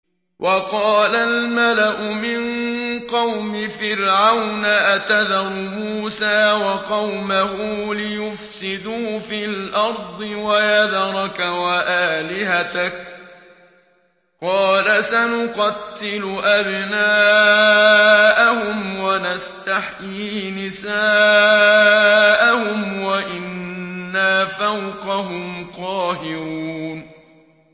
وَقَالَ الْمَلَأُ مِن قَوْمِ فِرْعَوْنَ أَتَذَرُ مُوسَىٰ وَقَوْمَهُ لِيُفْسِدُوا فِي الْأَرْضِ وَيَذَرَكَ وَآلِهَتَكَ ۚ قَالَ سَنُقَتِّلُ أَبْنَاءَهُمْ وَنَسْتَحْيِي نِسَاءَهُمْ وَإِنَّا فَوْقَهُمْ قَاهِرُونَ